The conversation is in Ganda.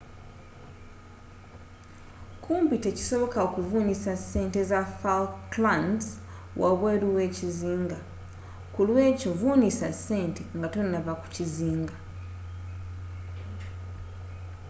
kumpi tekisoboka okuvunnisa sente za falklands wabweeru weekizinga ku lw'ekyo vunnisa sente nga tonnava ku kizinga